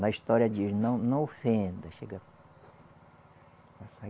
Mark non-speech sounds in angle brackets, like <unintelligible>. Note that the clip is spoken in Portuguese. Na história diz, não não ofenda. <unintelligible>